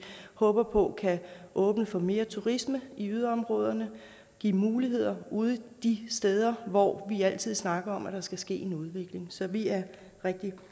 håber på kan åbne for mere turisme i yderområderne og give muligheder ude de steder hvor vi altid snakker om at der skal ske en udvikling så vi er rigtig